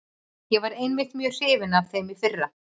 Ég var einmitt mjög hrifinn af þeim í fyrra.